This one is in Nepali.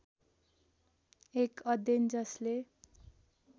एक अध्ययन जसले